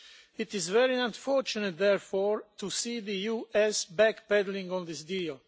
It is very unfortunate, therefore, to see the US backpedalling on this deal.